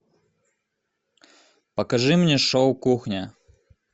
покажи мне шоу кухня